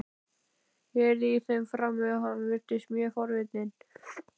Ég heyrði í þeim frammi og hann virtist mjög forvitinn.